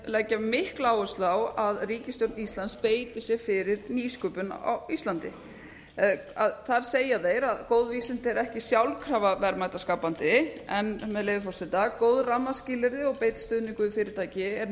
leggja mikla áherslu á að ríkisstjórn íslands beiti sér fyrir nýsköpun á íslandi þar segja þeir að góð vísindi eru ekki sjálfkrafa verðmætaskapandi en með leyfi forseta góð rammaskilyrði og beinn stuðningur við fyrirtæki er